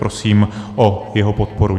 Prosím o jeho podporu.